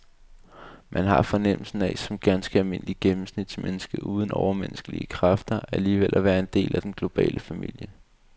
Man har fornemmelsen af som ganske almindelig gennemsnitsmenneske uden overmenneskelige kræfter alligevel at være en del af den globale familie.